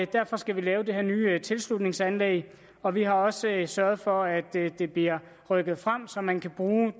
derfor skal vi lave det her nye tilslutningsanlæg og vi har også sørget for at det bliver rykket frem så man kan bruge